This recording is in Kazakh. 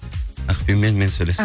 ақбибімен мен сөйлестім